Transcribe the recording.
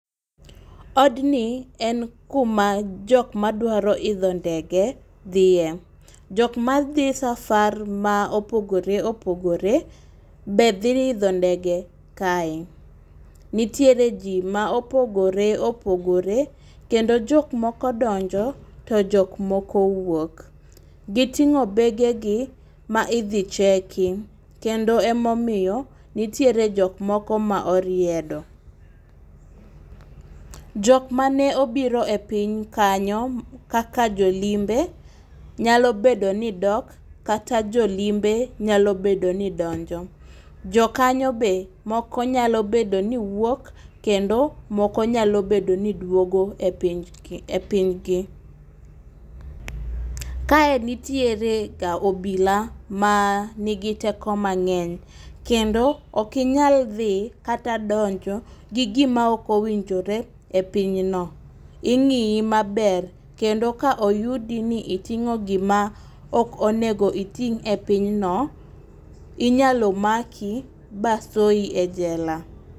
Odni en kuma jok madwaro idho ndege dhiye. Jok madi safar ma opogore opogore be dhi idho ndege kae. Nitiere jii ma opoore opogore kendo jok moko donjo to jok moko wuok. Giting'o bege gi ma idhi cheki kendo emomiyo nitiere jok moko ma oriedo. Jok mane obiro e piny kanyo kaka jolimbe nyalo bedo ni dok kata jolimbe nyalo bedo ni donjo . Jokanyo be moko nyalo bedo ni wuok kendo moko nyalo bedo ni duogo e piny ki e piny gi. Kae nitiere ga obila ma nigi teko mang'eny kendo okinyal dhi kata donjo gi gima ok owinjore e pinyno ing'iyi maber kendo ka oyudi ni iting'o gima ok onego iting' e pinyno inyalo maki basoyi e jela.